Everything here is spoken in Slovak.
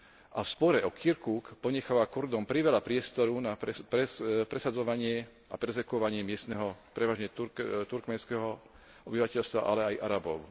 A v spore o Kirkuk ponecháva Kurdom priveľa priestoru na presadzovanie a perzekvovanie miestneho prevažne turkménskeho obyvateľstva, ale aj Arabov.